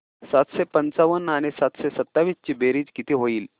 सातशे पंचावन्न आणि सातशे सत्तावीस ची बेरीज किती होईल